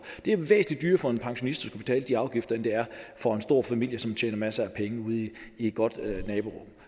det er jo væsentlig dyrere for en pensionist at betale de afgifter end det er for en stor familie som tjener masser af penge ude i et godt naborum